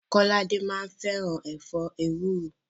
Kọ́ládé máa ń fẹ́ràn ẹ̀fọ́ ewúro.